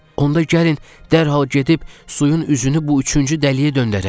Onda gəlin dərhal gedib suyun üzünü bu üçüncü dəliyə döndərək,